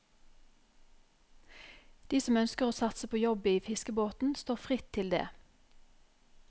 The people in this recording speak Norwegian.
De som ønsker å satse på jobb i fiskebåten, står fritt til det.